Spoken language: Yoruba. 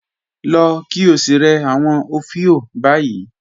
Lọ̀ kí ó sí rẹ̀ awọn ofíò báyì